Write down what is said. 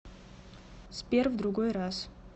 сбер в другой раз